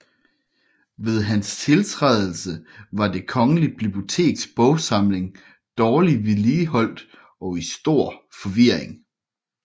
Ved hans tiltrædelse var det Kongelige Biblioteks bogsamling dårlig vedligeholdt og i stor forvirring